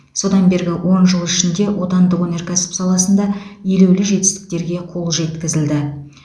содан бергі он жыл ішінде отандық өнеркәсіп саласында елеулі жетістіктерге қол жеткізілді